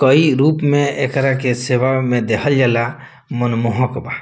कई रूप में एकरा के सेवा में देखल जाला मनमोहक बा।